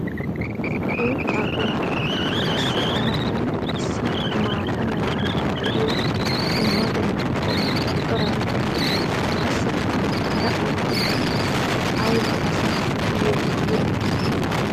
uuttaa gooppa! Qassi a matan issi maata mala meray diyo dumma dumma qommo corabatinne qassikka hara uuttati ayba asaa yeemoyiyoonaa!